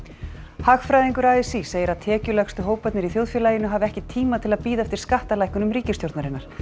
hagfræðingur a s í segir að tekjulægstu hóparnir í þjóðfélaginu hafi ekki tíma til að bíða eftir skattalækkunum ríkisstjórnarinnar